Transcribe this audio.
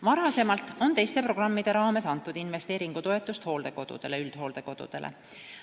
Varem on teiste programmide raames antud investeeringutoetust hooldekodudele ja üldhooldekodudele.